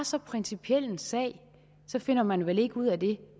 så principiel en sag så finder man vel ikke ud af det